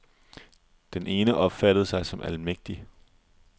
Den ene opfattede sig som almægtig.